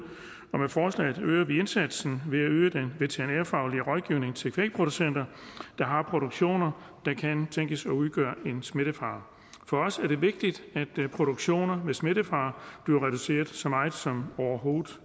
og med forslaget øger vi indsatsen ved at øge den veterinærfaglige rådgivning til kvægproducenter der har produktioner der kan tænkes at udgøre smittefare for os er det vigtigt at produktioner med smittefare bliver reduceret så meget som overhovedet